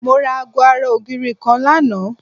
Mo ra aago ara ògiri kan lánàá